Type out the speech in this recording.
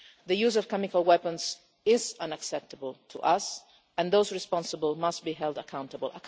The use of chemical weapons is unacceptable to us, and those responsible must be held accountable.